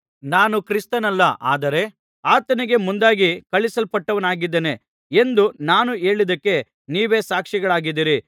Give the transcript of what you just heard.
ನಾನು ಕ್ರಿಸ್ತನಲ್ಲ ಆದರೆ ಆತನಿಗೆ ಮುಂದಾಗಿ ಕಳುಹಿಸಲ್ಪಟ್ಟವನಾಗಿದ್ದೇನೆ ಎಂದು ನಾನು ಹೇಳಿದ್ದಕ್ಕೆ ನೀವೇ ಸಾಕ್ಷಿಗಳಾಗಿದ್ದೀರಿ